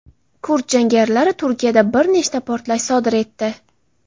Kurd jangarilari Turkiyada bir nechta portlash sodir etdi.